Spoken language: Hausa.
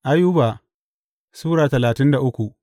Ayuba Sura talatin da uku